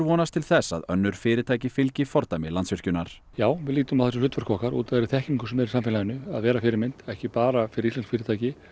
vonast til þess að önnur fyrirtæki fylgi fordæmi Landsvirkjunar já við lítum á það sem hlutverk okkar út af þeirri þekkingu sem er í samfélaginu að vera fyrirmynd ekki bara fyrir íslensk fyrirtæki